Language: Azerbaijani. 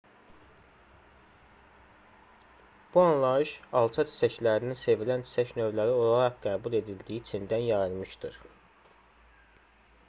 bu anlayış alça çiçəklərinin sevilən çiçək növləri olaraq qəbul edildiyi çindən yayılmışdır